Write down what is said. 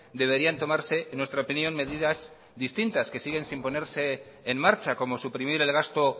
deberían tomarse en nuestra opinión medidas distintas que siguen sin ponerse en marcha como suprimir el gasto